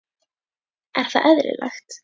Er það eðlilegt?